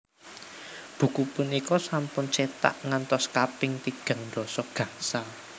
Buku punika sampun cetak ngantos kaping tigang dasa gangsal